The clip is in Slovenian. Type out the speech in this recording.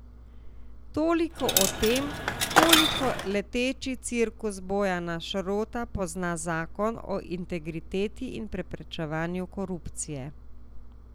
Toliko o tem, koliko leteči cirkus Bojana Šrota pozna zakon o integriteti in preprečevanju korupcije.